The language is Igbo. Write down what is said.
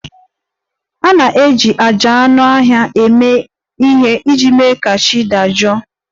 A na-eji àjà anụ ọhịa eme ihe iji mee ka chi dị jụụ